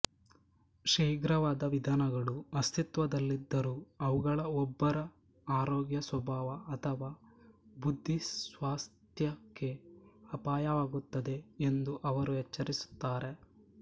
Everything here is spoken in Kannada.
ಶೀಘ್ರವಾದ ವಿಧಾನಗಳು ಅಸ್ತಿತ್ವದಲ್ಲಿದ್ದರೂ ಅವುಗಳು ಒಬ್ಬರ ಆರೋಗ್ಯ ಸ್ವಭಾವ ಅಥವಾ ಬುದ್ಧಿಸ್ವಾಸ್ಥ್ಯಕ್ಕೆ ಅಪಾಯವಾಗುತ್ತದೆ ಎಂದು ಅವರು ಎಚ್ಚರಿಸುತ್ತಾರೆ